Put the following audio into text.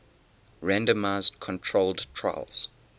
randomized controlled trials